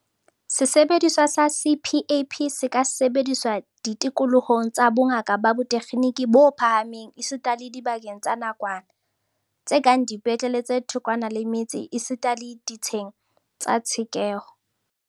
Sesebediswa sa CPAP se ka sebediswa ditikolohong tsa bongaka ba botekgeniki bo phahameng esita le dibakeng tsa nakwana, tse kang dipetlele tse thokwana le metse esita le ditsheng tsa tshekeho.